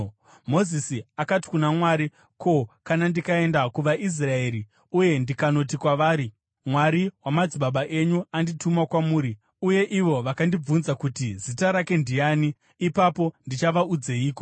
Mozisi akati kuna Mwari, “Ko, kana ndikaenda kuvaIsraeri uye ndikanoti kwavari, ‘Mwari wamadzibaba enyu andituma kwamuri,’ uye ivo vakandibvunza kuti, ‘Zita rake ndiani?’ ipapo ndichavaudzeiko?”